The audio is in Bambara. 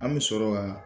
An bɛ sɔrɔ ka